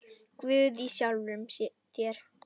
Guð í sjálfum þér.